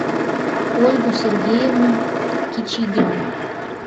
ольгу сергеевну кичигину